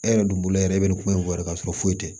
E yɛrɛ dun bolo yɛrɛ e bɛ nin ko in fɔ yɛrɛ k'a sɔrɔ foyi tɛ